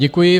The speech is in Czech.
Děkuji.